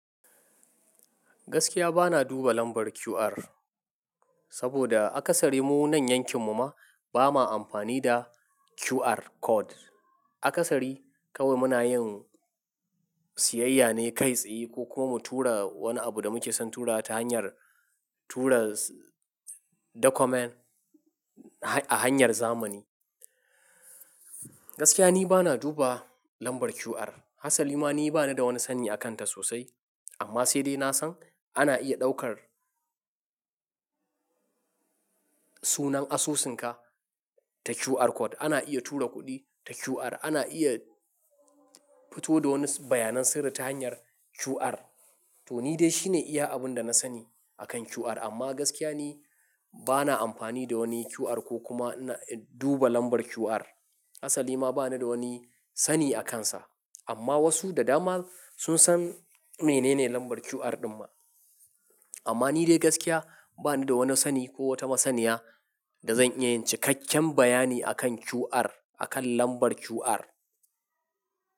Gaskiya bana duba lambar QR, saboda akasari mu wanan yankin mu ma ba ma amfani da QR code. Akasari kawai muna yin siyayya ne kai tsaye ko kuma mu tura wani abu da muke son tura ta hanyar tura document a hanyar zamani. Gaskiya ni bana duba lambar QR, hatsali ma ni bani da wani sani a kanta sosai. Amma sai dai na san ana iya ɗaukar sunan asusunka ta QR code, ana iya tura kuɗi ta QR, ana iya fito da wani bayanan sirri ta hanyar QR. To ni dai shine iya abun da na sani akan QR amma gaskiya ni bana amfani da wani QR ko kuma duba lambar QR. Hatsali ma bani da wani sani a kansa. Amma wasu da dama sun san menene lambar QR ɗin ma. Amma ni dai gaskiya bani da wani sani ko wata masaniya da zan iya yin ci kakken bayani akan QR, akan lambar QR.